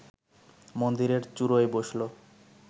মন্দিরের চুড়োয় বসল